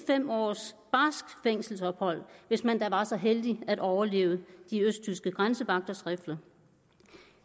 fem års barskt fængselsophold hvis man da var så heldig at overleve de østtyske grænsevagters rifler